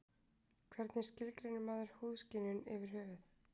Hvernig skilgreinir maður húðskynjun yfir höfuð?